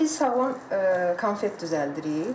İndi biz sağlam konfet düzəldirik.